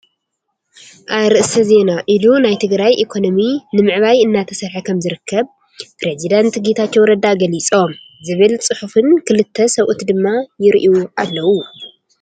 ኣርእሰ ዜና ኢሉ ናይ ትግራይ ኢኮኖሚ ለንዕባይ እናተሰርሐ ከምዝርከብ ፕሬዝዳንት ጌታቸው ረዳ ገሊፆም ዝብል ፅሑፍን ክልተ ሰበኡት ድማ ይርኣዩ ኣለው።